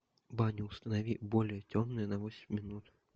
баня установи более темно на восемь минут